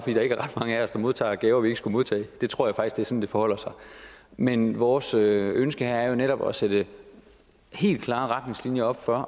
er der ikke ret mange af os der modtager gaver vi ikke skulle modtage det tror jeg faktisk er sådan det forholder sig men vores ønske her er jo netop at sætte helt klare retningslinjer op for